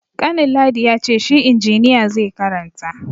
Kanin ladi ya ce shi injiniya zai karanta.